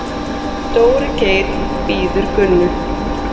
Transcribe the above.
Dóri Geir bíður Gunnu.